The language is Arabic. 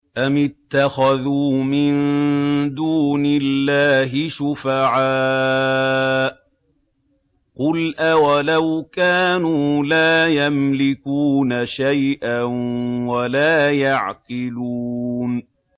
أَمِ اتَّخَذُوا مِن دُونِ اللَّهِ شُفَعَاءَ ۚ قُلْ أَوَلَوْ كَانُوا لَا يَمْلِكُونَ شَيْئًا وَلَا يَعْقِلُونَ